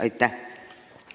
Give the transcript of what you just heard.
Aitäh!